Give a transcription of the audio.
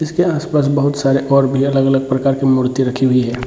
इसके आस-पास बहुत सारे और भी अलग-अलग प्रकार के मूर्ति रखी हुई है।